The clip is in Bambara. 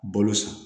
Balo san